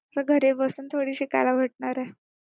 असं घरी बसून थोडीच शिकायला भेटणार आहे.